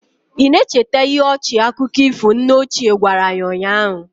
Ị na-echeta ihe ọchị akụkọ ifo nne ochie gwara anyị ụnyahụ?